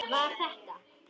Var þetta.?